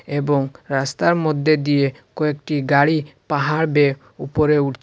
এবং রাস্তার মধ্যে দিয়ে কয়েকটি গাড়ি পাহাড় বেয়ে ওপরে উঠ--